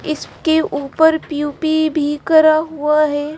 इसके ऊपर प्यूपी भी करा हुआ है।